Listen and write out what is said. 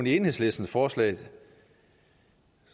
i enhedslistens forslag